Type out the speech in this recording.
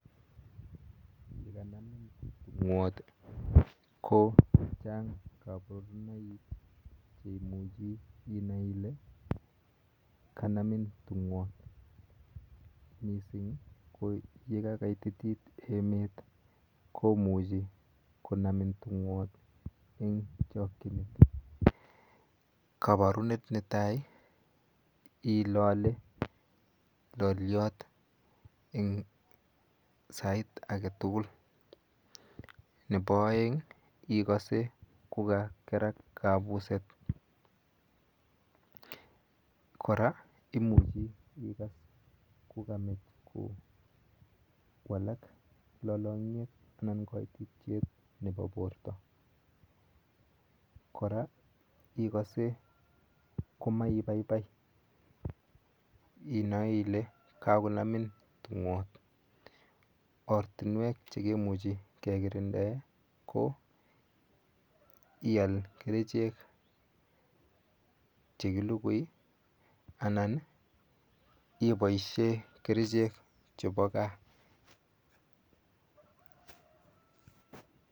Ye kanamin tung'wat i, ko chang' kaparunoik che imuchi inai ile kanamin tung'wot. Missing' ko ye ka kaititit emet ko muchi konamin tung'wot eng' chakchinet. Ne tai ilale lalyot eng' sait age tugul. Nepo aeng' ikase ko kakerak kapuset. Kora imuchi ikas ko kamech kowalak lalang'yet anan kaititiet nepo porto. Kora ikase ko maipaipai inae ile kakonamin tung'wot. Ortunwek che kimuchi ke kirindae ko ial kerichek che kilugui anan ipaishe kerichek chepo gaa.